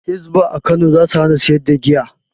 Hisba a Kano za su hana sayar da giya.